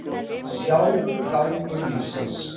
Sjálfur gangur lífsins.